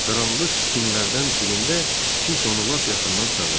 Qaranlıq tinlərdən birində kimsə onu lap yaxından çağırdı.